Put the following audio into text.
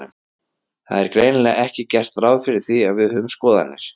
Það er greinilega ekki gert ráð fyrir því að við höfum skoðanir.